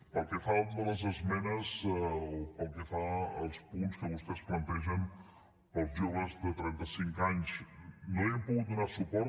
pel que fa a les esmenes o pel que fa als punts que vostès plantegen per als joves de trenta cinc anys no hi hem pogut donar suport